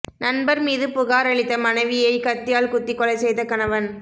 நண்பர் மீது புகாரளித்த மனைவியை கத்தியால் குத்தி கொலை செய்த கணவன்